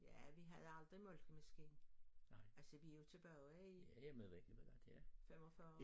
Ja vi havde aldrig malkemaskine altså vi jo tilbage i 45